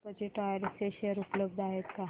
Tirupati tyres चे share उपलब्ध आहेत का